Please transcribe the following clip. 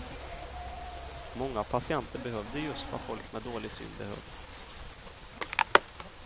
Många patienter behövde just vad folk med dålig syn behöver.